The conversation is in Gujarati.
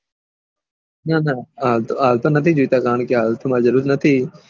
ના ના આતો ની જોતા કારણ કે આ વખત મને જરૂર નથી